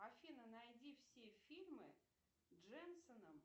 афина найди все фибмы дженсоном